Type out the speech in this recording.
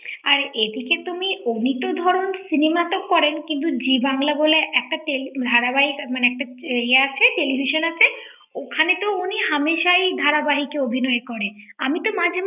আর এদিকে তুমি এমনিতেও ধরো cinema টা করেন কিন্তু জি বাংলা বলে একটা টেল ধারা বাহক মানে একটা এ টেলিভিশন আছে ওখানে তো উনি হামেশাই ধারাবা৷হিক অভিনয় করেন আমি তো মাঝে মাঝে ৷